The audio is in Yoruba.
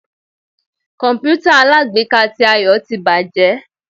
kọǹpútà alágbèéká tí Ayo tí bajé